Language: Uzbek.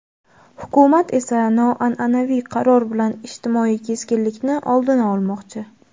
Hukumat esa noanʼanaviy qaror bilan ijtimoiy keskinlikni oldini olmoqchi.